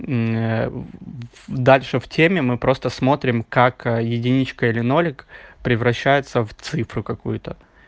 дальше в теме мы просто смотрим как единичка или нолик превращается в цифру какую-то